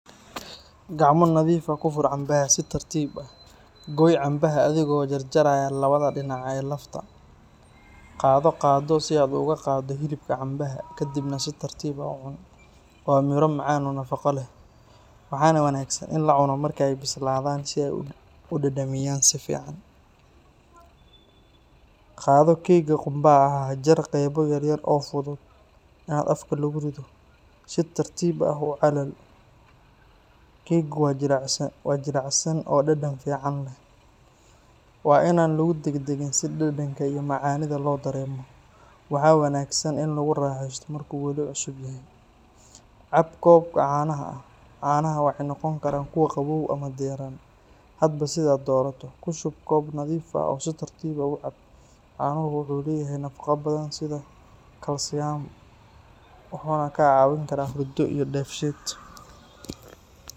Gacmo nadiif ah ku fur cambaha si tartiib ah. Goy cambaha adigoo jaraya labada dhinac ee lafta. Qaado qaaddo si aad uga qaaddo hilibka cambaha, kadibna si tartiib ah u cuno. Waa miro macaan oo nafaqo leh, waxaana wanaagsan in la cuno marka ay bislaadaan si ay u dhadhamiyaan si fiican. Qaado keega qumbaha ah. Jar qaybo yaryar oo fudud in afka lagu rido. Si tartiib ah u calali, keeggu waa jilicsan oo dhadhan fiican leh. Waa in aan lagu degdegin si dhadhanka iyo macaanida loo dareemo. Waxaa wanaagsan in lagu raaxeysto marka uu weli cusub yahay. Cab koob caano ah. Caanaha waxay noqon karaan kuwo qabow ama diirran, hadba sida aad doorato. Ku shub koob nadiif ah oo si tartiib ah u cab. Caanuhu wuxuu leeyahay nafaqo badan sida kalsiyam, wuxuuna kaa caawin karaa hurdo iyo dheefshiid.